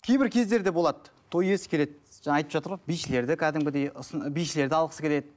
кейбір кездер де болады той иесі келеді жаңа айтып жатыр ғой бишілер де кәдімгідей бишілерді алғысы келеді